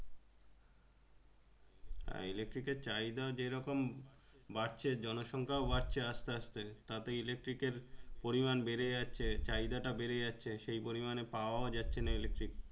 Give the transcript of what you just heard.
electric এর চাহিদা যেরকম বাড়ছে জনসংখ্যাও বাড়ছে আস্তে আস্তে তাতে electric এর পরিমান বেড়ে যাচ্ছে চাহিদা বেড়ে যাচ্ছে সেই পরিমানে পাওয়াও যাচ্ছে না electric